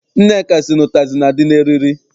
Nneka sị na ụtazị na- adị n'eriri.